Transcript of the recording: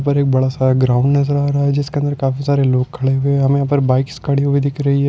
ऊपर एक बड़ासा ग्राउंड नजर आ रहा है जिसके अंदर काफी सारे लोग खड़े हुए है हमे यहा पर बाइक्स खड़ी हुई दिख रही है।